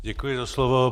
Děkuji za slovo.